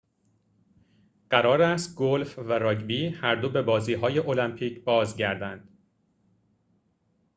قرار است گلف و راگبی هر دو به بازی های المپیک بازگردند